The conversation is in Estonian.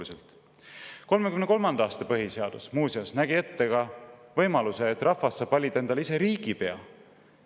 1933. aasta põhiseadus muuseas nägi ette ka võimaluse, et rahvas saab valida endale ise riigipea.